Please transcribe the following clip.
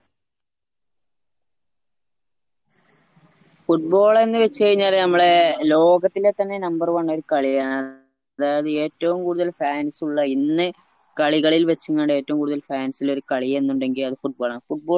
football എന്ന് വെച് കഴിഞ്ഞാല് നമ്മളെ ലോകത്തിലെ തന്നെ number one ഒരു കളിയാണ് അതായത് ഏറ്റവുംകൂടുതൽ fans ഉള്ള ഇന്ന് കളികളിൽ വെച്ച് ഏറ്റവും കൂടുതൽ fans ഇല്ലെരു കാളിയെന്നിണ്ടെങ്കിൽ അത് football ആണ്